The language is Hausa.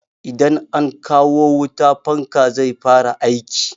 Idan an kawo wuta, fanka zai fara aiki